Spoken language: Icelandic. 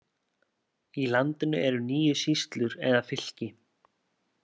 Í landinu eru níu sýslur eða fylki.